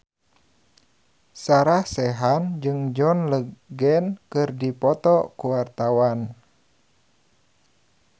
Sarah Sechan jeung John Legend keur dipoto ku wartawan